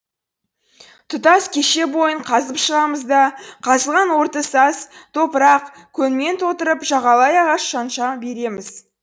тұтас кеше бойын қазып шығамыз да қазылған орды саз топырақ көңмен толтырып жағалай ағаш шанша береміз